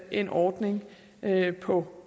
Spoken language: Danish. en ordning på